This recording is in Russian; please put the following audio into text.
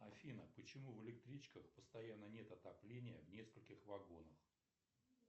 афина почему в электричках постоянно нет отопления в нескольких вагонах